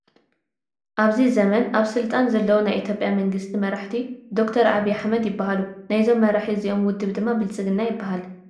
ኣብዚ ዘመን ኣብ ስልጣን ዘለዉ ናይ ኢትዮጵያ መንግስቲ መራሒ ዶክተር ዓብዪ ኣሕመድ ይበሃሉ፡፡ ናይዞም መራሒ እዚኦም ውድብ ድማ ብልፅግና ይበሃል፡፡